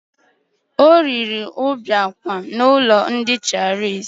O riri mbiang khan n'ụlọ nkwari ndi chinese